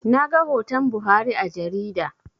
Naga hoton Buhari a jarida